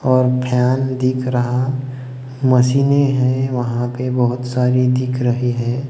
और फैन दिख रहा मशीने हैं वहां पे बहोत सारी दिख रहें हैं।